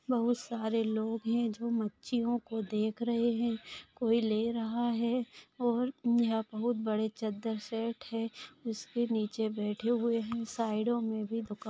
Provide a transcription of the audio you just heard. बहुत सारे लोग है जो मच्छियों को देख रहे है कोई ले रहा है और यहाँ बहुत सारे चद्दर सेट है उसके नीचे भी बैठे हुए है और साइडो में भी दुकाने--